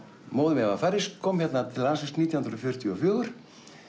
móðir mín var færeysk kom hérna til landsins nítján hundruð fjörutíu og fjögur